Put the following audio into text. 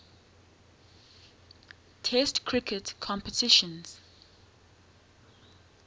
test cricket competitions